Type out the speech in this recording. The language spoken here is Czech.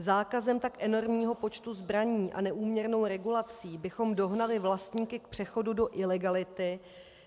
Zákazem tak enormního počtu zbraní a neúměrnou regulací bychom dohnali vlastníky k přechodu do ilegality,